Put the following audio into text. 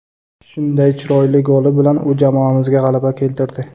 Shunday chiroyli goli bilan u jamoamizga g‘alaba keltirdi.